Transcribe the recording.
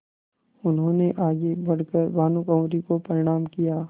उन्होंने आगे बढ़ कर भानुकुँवरि को प्रणाम किया